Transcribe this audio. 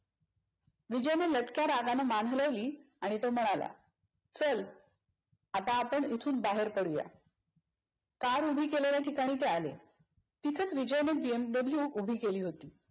विजयने लटक्या रागाने मान हलवली आणि तो म्हणाला चल, आता आपण इथून बाहेर पडूया. car उभी केलेल्या ठिकाणी ते आले. तिथेच विजयने बी एम दाबलूए उभी केली होती.